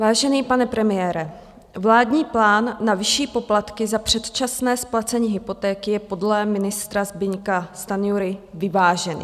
Vážený pane premiére, vládní plán na vyšší poplatky za předčasné splacení hypotéky je podle ministra Zbyňka Stanjury vyvážený.